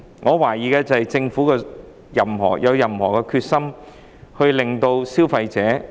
我懷疑的是，政府是否有決心保障消費者？